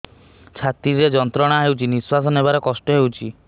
ଛାତି ରେ ଯନ୍ତ୍ରଣା ହେଉଛି ନିଶ୍ଵାସ ନେବାର କଷ୍ଟ ହେଉଛି